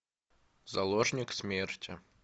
заложник смерти